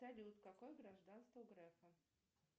салют какое гражданство у грефа